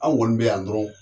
An kɔni be yan dɔrɔn